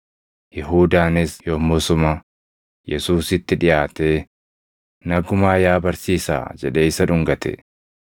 Yihuudaanis yommusuma Yesuusitti dhiʼaatee, “Nagumaa yaa barsiisaa!” jedhee isa dhungate.